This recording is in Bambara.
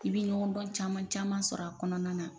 I'i bɛ ɲɔgɔndɔn caman caman sɔrɔ a kɔnɔna na.